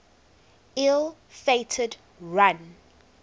ill fated run